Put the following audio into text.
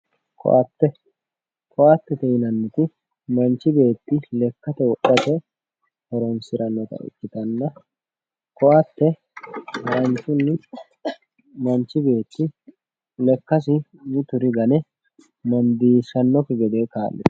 ko"atte ko"attete yinanniti manchi beetti lekkate wodhate horonsirannota ikkitanna ko"atte manchi mituri gane mundiishshannokki gede kaa'litanno